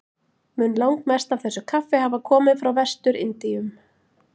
Mun langmest af þessu kaffi hafa komið frá Vestur-Indíum.